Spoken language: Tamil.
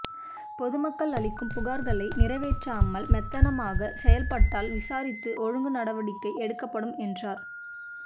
பொதுமக்கள் அளிக்கும் புகார்களை நிறைவேற்றாமல் மெத்தனமாக செயல்பாட்டால் விசாரித்து ஒழுங்கு நடவடிக்கை எடுக்கப்படும் என்றார்